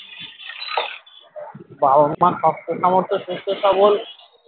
বাবা মা শক্ত সামর্থ সুস্থ সবল